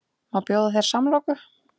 Má bjóða þér samloku?